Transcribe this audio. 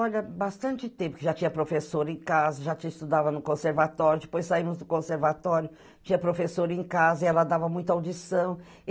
Olha, bastante tempo, que já tinha professor em casa, já a gente estudava no conservatório, depois saímos do conservatório, tinha professor em casa e ela dava muita audição.